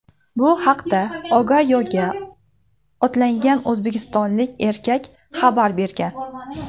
Bu haqda Ogayoga otlangan o‘zbekistonlik erkak xabar bergan.